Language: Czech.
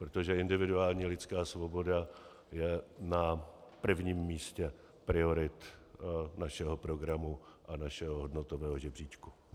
Protože individuální lidská svoboda je na prvním místě priorit našeho programu a našeho hodnotového žebříčku.